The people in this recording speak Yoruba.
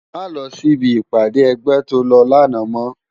Má lò si bi ipàdé ègbè tó lò làná mò